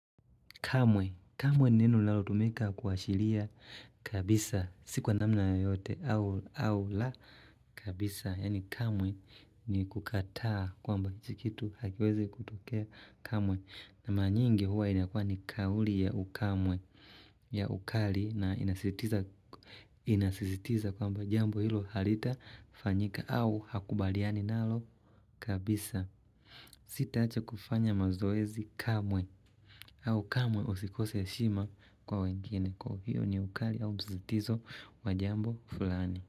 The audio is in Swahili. Kamwe. Kamwe ni neno linalotumika kuashiria kabisa. Si kwa namna yoyote au la kabisa. Yani kamwe ni kukataa kwamba hichi kitu hakiwezi kutokea kamwe. Na mara nyingi huwa inakuwa ni kauli ya ukamwe ya ukali na inasisitiza inasisitiza kwamba jambo hilo halitafanyika au hakubaliani nalo kabisa. Sita acha kufanya mazoezi kamwe. Au kamwe usikose heshima kwa wengine kwa hiyo ni ukali au msisitizo wa jambo fulani.